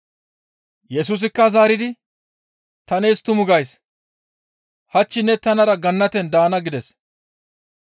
Yesusikka zaaridi, «Ta nees tumu gays; hach ne tanara Gannaten daana» gides.